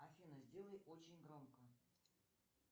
афина сделай очень громко